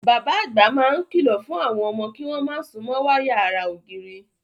Bàbá àgbà máa ń kìlọ̀ fún àwọn ọmọ kí wọ́n má súnmọ́ wáyà ara ògiri.